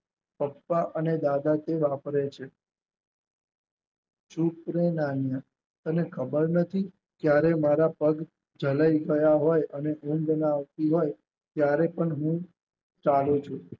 પપ્પા અને દાદાજી વાપરે છે. ચૂપ રે નાનીયા તને ખબર નથી ક્યારે મારા પગ ચલય ગયા હોય અને ઊંઘ ન આવતી હોય ત્યારે પણ હું ચાલુ છું.